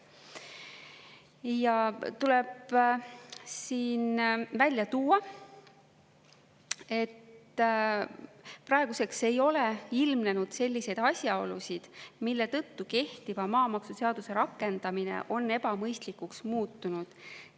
Ja tuleb siin välja tuua, et praeguseks ei ole ilmnenud selliseid asjaolusid, mille tõttu kehtiva maamaksuseaduse rakendamine on ebamõistlikuks muutunud.